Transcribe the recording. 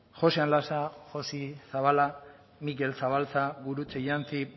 joxean lasa joxi zabala mikel zabaltza gurutze iantzi